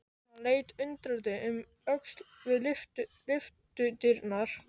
Hann leit undrandi um öxl við lyftudyrnar.